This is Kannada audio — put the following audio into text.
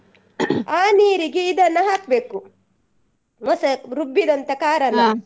ಅ ನೀರಿಗೆ ಇದನ್ನ ಹಾಕ್ಬೇಕು ರುಬ್ಬಿದಂತ .